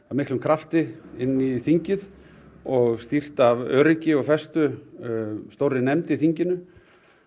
af miklum krafti inn á þingið og stýrt af öryggi og festu stórri nefnd í þinginu